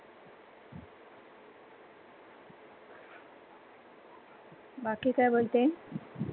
बाकी काय बोलते?